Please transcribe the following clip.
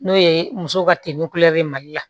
N'o ye muso ka teli kulɛri mali la